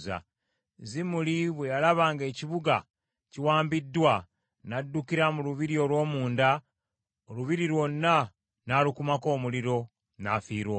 Zimuli bwe yalaba ng’ekibuga kiwambiddwa, n’addukira mu lubiri olw’omunda, olubiri lwonna n’alukumako omuliro. N’afiira omwo.